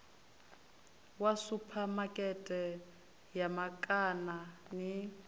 wa suphamakete ya makana ni